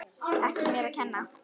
Ekki mér að kenna!